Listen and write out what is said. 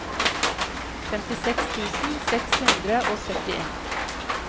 femtiseks tusen seks hundre og syttien